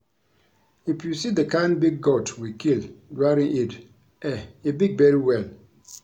If you see the kin big goat we kill during Eid eh e big very well